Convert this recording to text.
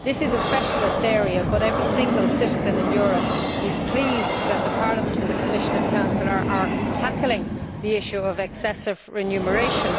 This is a specialist area but every single citizen in Europe is pleased that Parliament, the Commission and the Council are tackling the issue of excessive remuneration.